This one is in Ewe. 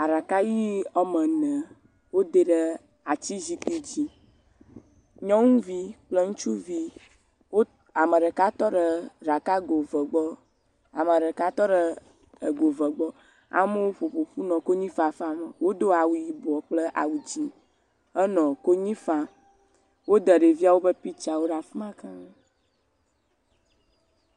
Aɖaka ʋe woame ene, wode ɖe ati zikpui dzi nyɔnuvi kple ŋutsuvi wo..ame ɖeka tɔ ɖe ego eve gbɔ, amewo ƒoƒu nɔ konyi fafam, wodo awu yibɔ kple awu dzɛ̃henɔ konyi fam wode ɖeviawo ƒe piktsawo ɖe fi ma keŋ.